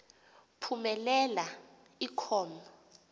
phumelela i com